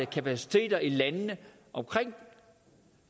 kapaciteter i landene omkring